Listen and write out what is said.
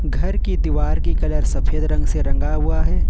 घर की दीवार की कलर सफेद रंग से रंगा हुआ है।